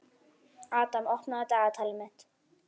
Adam, opnaðu dagatalið mitt.